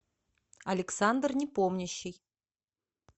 александр непомнящий